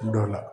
Dɔ la